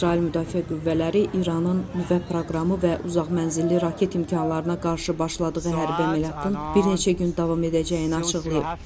İsrail Müdafiə Qüvvələri İranın nüvə proqramı və uzaq mənzilli raket imkanlarına qarşı başladığı hərbi əməliyyatın bir neçə gün davam edəcəyini açıqlayıb.